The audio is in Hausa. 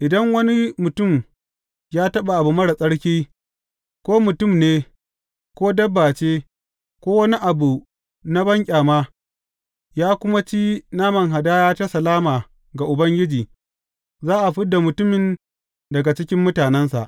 Idan wani mutum ya taɓa abu marar tsarki, ko mutum ne, ko dabba ce, ko wani abu na banƙyama, ya kuma ci naman hadaya ta salama ga Ubangiji, za a fid da mutumin daga cikin mutanensa.’